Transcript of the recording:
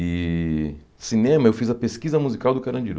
E cinema, eu fiz a pesquisa musical do Carandiru.